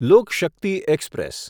લોક Shakti express